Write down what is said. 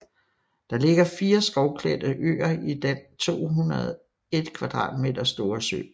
Der ligger fire skovklædte øer i den 201 ha store sø